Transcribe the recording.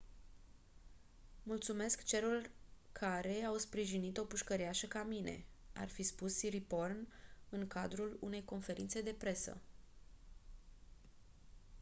mulțumesc celor care au sprijinit o pușcăriașă ca mine ar fi spus siriporn în cadrul unei conferințe de presă